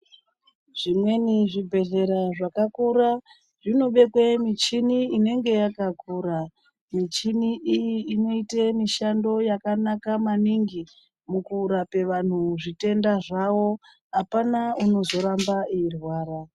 Zvimweni zvibhedhlera zvakakura zvinobekwe michini inenge yakakura. Michini iyi inoyite mishando yakanaka maningi, mukurape vanhu zvitenda zwawo. Hapana unozoramba erwara.